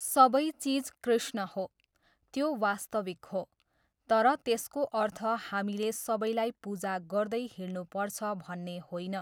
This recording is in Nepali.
सबै चिज कृष्ण हो, त्यो वास्तविक हो, तर त्यसको अर्थ हामीले सबैलाई पूजा गर्दै हिँड्नुपर्छ भन्ने होइन।